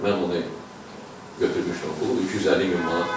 Mən onu götürmüşdüm o pulu, 250 min manat.